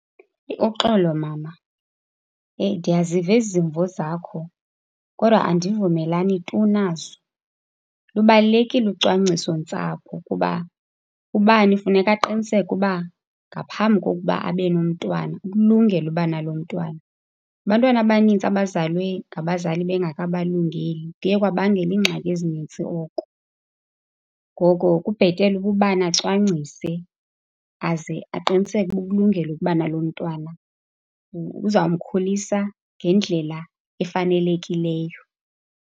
Uxolo, mama, ndiyaziva ezi zimvo zakho kodwa andivumelani tu nazo. Lubalulekile ucwangcisontsapho kuba ubani kufuneka aqiniseke uba ngaphambi kokuba abe nomntwana, ukulungele ukuba nalo mntwana. Abantwana abanintsi abazalwe ngabazali bengakabalungeli, kuye kwabangela iingxaki ezininzi oko. Ngoko kubhetele uba ubani acwangcise, aze aqiniseke ukuba ukulungele ukuba nalo mntwana. Uzamkhulisa ngendlela efanelekileyo.